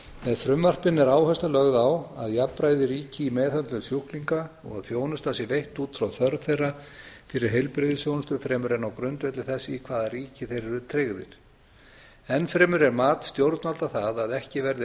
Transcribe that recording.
með frumvarpinu er áhersla lögð á að jafnræði ríki í meðhöndlun sjúklinga og að þjónustan sé veitt út frá þörf þeirra fyrir heilbrigðisþjónustu fremur en á grundvelli þess í hvaða ríki þeir eru tryggðir enn fremur er mat stjórnvalda það að ekki verði